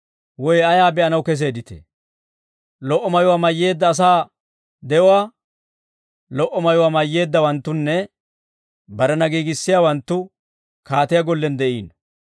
Woy ayaa be'anaw keseedditee? Lo"o mayuwaa mayyeedda asaa de'uwaa? Lo"o mayuwaa mayyeeddawanttunne barena giigissiyaawanttu kaatiyaa gollen de'iino.